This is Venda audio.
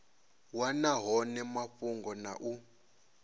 wana hone mafhungo na u